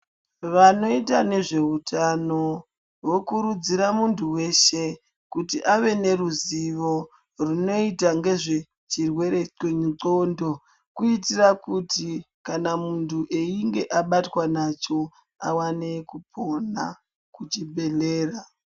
Vanoita nezveutano vokurudzira munthu weshe kuti ave neruzivo runoita ngezvechirwere chendxondo kuitira kuti kana munthu einge abatwa nacho awane kupona kuchibhedhlera.